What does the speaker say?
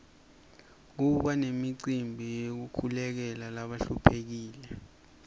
kuba nemicimbi yekukolekela labahluphekile